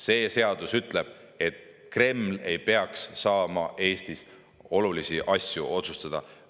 See seadus ütleb, et Kreml ei peaks saama Eestis olulisi asju otsustada.